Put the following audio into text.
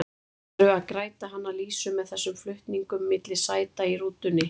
Ætlarðu að græta hana Lísu með þessum flutningum milli sæta í rútunni?